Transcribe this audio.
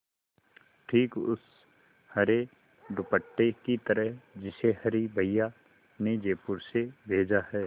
ठीक उस हरे दुपट्टे की तरह जिसे हरी भैया ने जयपुर से भेजा है